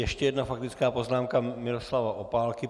Ještě jedna faktická poznámka Miroslava Opálky.